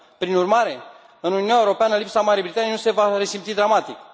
Prin urmare, în Uniunea Europeană lipsa Marii Britanii nu se va resimți dramatic.